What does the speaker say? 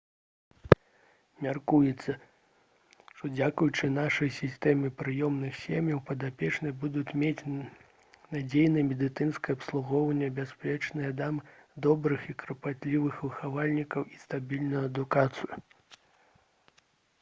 мяркуецца што дзякуючы нашай сістэме прыёмных сем'яў падапечныя будуць мець надзейнае медыцынскае абслугоўванне бяспечныя дамы добрых і клапатлівых выхавальнікаў і стабільную адукацыю